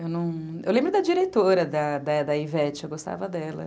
Eu lembro da diretora, da da da Ivete, eu gostava dela.